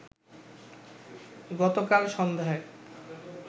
গতকাল সন্ধ্যায়